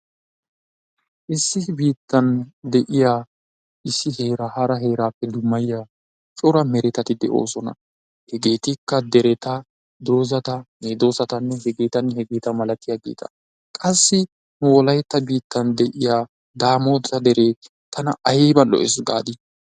Issi biittan de'iya issi heeraa hara heeraappe dummayiyaa cora meretati de'oosona. Hegeetikka dereta, dozata, medoosata, hegeetanne hegeeta malattiyaageeta qassi wolaytta biittan de'iya daamota deree tana ayba lo'ees gaadii?